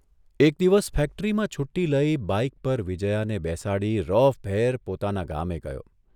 એક દિવસ ફેક્ટરીમાં છૂટ્ટી લઇ બાઇક પર વિજ્યાને બેસાડી રોફભેર પોતાના ગામે ગયો.